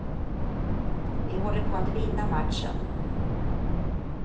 Vi håller på att vinna matchen.